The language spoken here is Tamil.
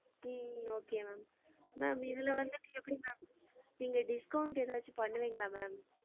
உம் okay ma'am ma'am இதுல வந்திட்டு எப்டி ma'am நீங்க discount ஏதாச்சும் பன்னுவிங்களா ma'am?